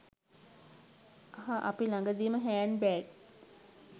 අහ් අපි ලඟදීම hand bag